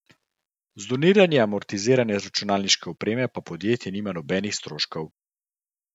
Z doniranjem amortizirane računalniške opreme pa podjetje nima nobenih stroškov.